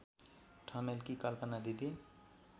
ठमेलकी कल्पना दिदी